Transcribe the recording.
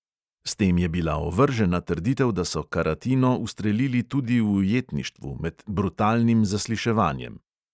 S tem je bila ovržena trditev, da so karatino ustrelili tudi v ujetništvu, med "brutalnim zasliševanjem".